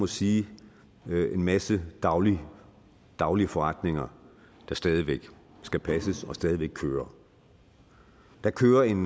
sige en masse daglige daglige forretninger der stadig væk skal passes og stadig væk kører der kører en